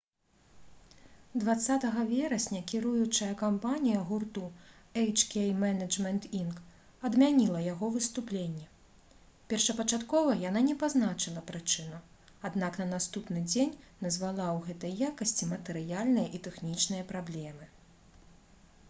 20 верасня кіруючая кампанія гурту «эйч-кей менеджмент інк.» адмяніла яго выступленне. першапачаткова яна не пазначыла прычыну аднак на наступны дзень назвала ў гэтай якасці матэрыяльныя і тэхнічныя праблемы